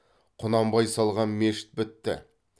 құнанбай салған мешіт бітті